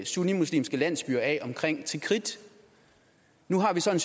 sunnimuslimske landsbyer af omkring tikrit nu har vi så